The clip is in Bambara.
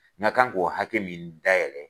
Na kan k'o hakɛ min dayɛlɛ.